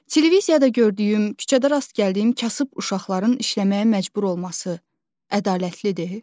Televiziyada gördüyüm, küçədə rast gəldiyim kasıb uşaqların işləməyə məcbur olması ədalətlidir?